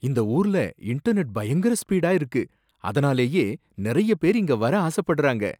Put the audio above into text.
இந்த ஊர்ல இன்டர்நெட் பயங்கர ஸ்பீடா இருக்கு, அதனாலேயே நிறைய பேர் இங்க வர ஆசப்படுறாங்க.